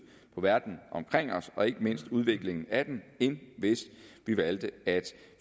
på verden omkring os og ikke mindst udviklingen af den end hvis vi valgte at